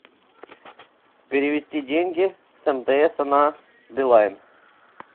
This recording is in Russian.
перевести деньги с мтс на билайн